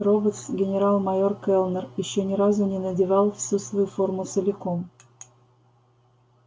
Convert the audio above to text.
роботс генерал-майор кэллнер ещё ни разу не надевал всю свою форму целиком